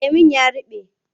Lemon ya ruɓe.